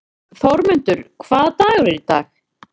Þórmundur, hvaða dagur er í dag?